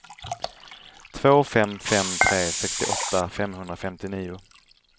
två fem fem tre sextioåtta femhundrafemtionio